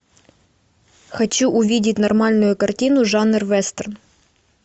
хочу увидеть нормальную картину жанр вестерн